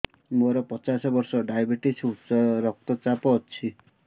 ମୋର ପଚାଶ ବର୍ଷ ଡାଏବେଟିସ ଉଚ୍ଚ ରକ୍ତ ଚାପ ଅଛି